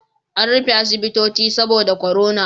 An rufe asibitoci saboda korona